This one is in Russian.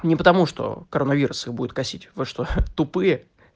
не потому что коронавирус их будет косить вы что тупые